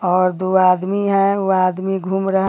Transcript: और दो आदमी है व आदमी घूम रहा --